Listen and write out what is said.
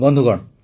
ବନ୍ଧୁଗଣ